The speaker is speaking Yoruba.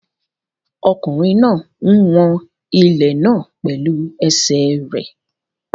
Ọkùnrin náà ń wọn ilẹ̀ náà pẹ̀lú ẹsẹ̀ rẹ̀.